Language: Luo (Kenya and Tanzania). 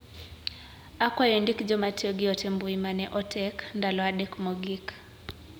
Akwayo indik joma tiyo gi ote mbui mane otek ndalo adek mogik.